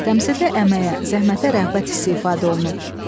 Təmsildə əməyə, zəhmətə rəğbət hissi ifadə olunub.